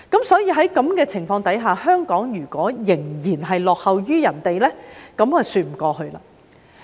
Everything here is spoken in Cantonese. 所以，在此情況下，如果香港仍然落後於其他人，便說不過去。